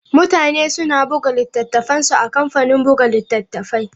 Mutane suna buga littattafansu a kamfanin buga littattafai.